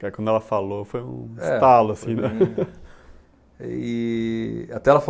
Que aí quando ela falou, foi um estalo, assim, né?